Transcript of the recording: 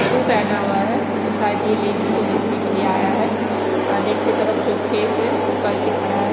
शू पहना हुआ है तो शायद ये लेक को देखने के लिए आया है लेक की तरफ जो फेस है वो करके खड़ा है।